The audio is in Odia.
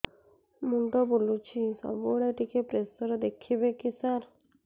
ମୁଣ୍ଡ ବୁଲୁଚି ସବୁବେଳେ ଟିକେ ପ୍ରେସର ଦେଖିବେ କି ସାର